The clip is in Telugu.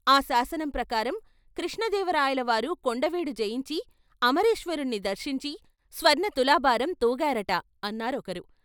ఆ శాసనం ప్రకారం కృష్ణదేవరాయల వారు కొండవీడు జయించి అమరేశ్వరుణ్ణి దర్శించి స్వర్ణ తులాభారం తూగారట ' అన్నారొకరు.